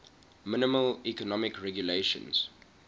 minimal economic regulations